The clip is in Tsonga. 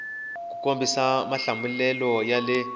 ku kombisa mahlamulelo ya le